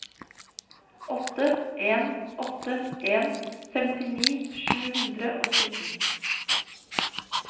åtte en åtte en femtini sju hundre og sytten